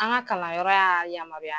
An ka kalanyɔrɔ y'a yamaruya.